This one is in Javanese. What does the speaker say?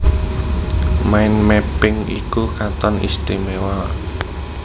Mind Mapping iku katon istimewa